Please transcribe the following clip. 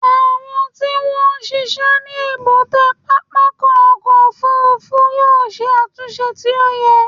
Àwọn tí wọ́n ń ṣiṣẹ́ ní èbúté pápákọ̀ òfúrúfú yóò ṣe àtúnṣe tí ó yẹ.